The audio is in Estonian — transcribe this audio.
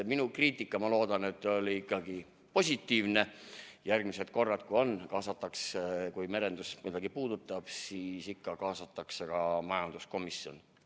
Minu kriitika, ma loodan, oli ikkagi positiivne ja ma usun, et järgmised korrad, kui mingi eelnõu puudutab merendust, siis ikka kaasatakse ka majanduskomisjoni.